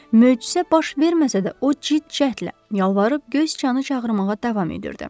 Möcüzə baş verməsə də o cid cəhtlə yalvarıb göy sıçanı çağırmağa davam edirdi.